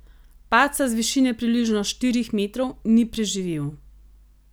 Padca z višine približno štirih metrov ni preživel.